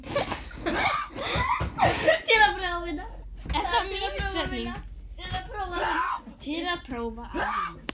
Til að prófa að vinna.